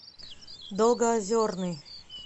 долгоозерный